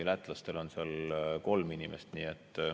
Lätlastel on seal kolm inimest.